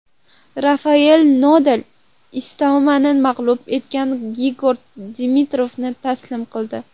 Rafayel Nadal Istominni mag‘lub etgan Grigor Dimitrovni taslim qildi.